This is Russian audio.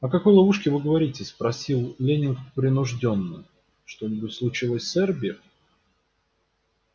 о какой ловушке вы говорите спросил лэннинг принуждённо что-нибудь случилось с эрби